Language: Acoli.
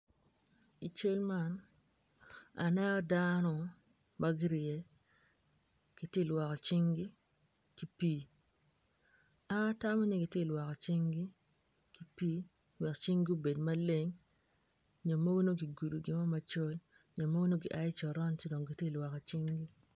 I cal man aneno dano ma gurye giti lwoko cinggi ki pii an atamo ni giti lwoko cinggi ki pii wek cinggi obed maleng nyo mogo nongo gigudo gimo macol nyo mogo nongo gia i coron ci dong giti lwoko cingi.